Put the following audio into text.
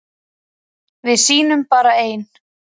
Við sýnum bara ein